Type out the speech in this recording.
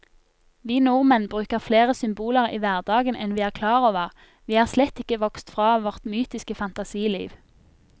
Vi nordmenn bruker flere symboler i hverdagen enn vi er klar over, vi er slett ikke vokst fra vårt mytiske fantasiliv.